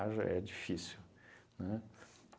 Haja, é difícil, né?